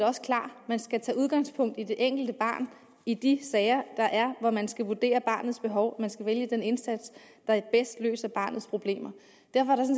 også klar man skal tage udgangspunkt i det enkelte barn i de sager der er hvor man skal vurdere barnets behov og man skal vælge den indsats der bedst løser barnets problemer derfor